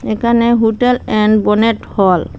এখানে hotel and bonnet হল ।